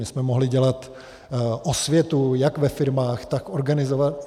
My jsme mohli dělat osvětu jak ve firmách, tak v organizacích.